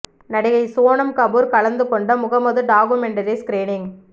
நடிகை சோனம் கபூர் கலந்துக்கொண்ட Mohammed documentary screening